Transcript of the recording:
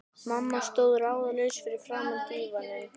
Mamma stóð ráðalaus fyrir framan dívaninn.